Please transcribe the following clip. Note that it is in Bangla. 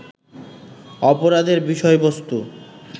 অপরাধের বিষয়বস্তু